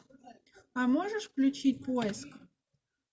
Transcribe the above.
а можешь включить поиск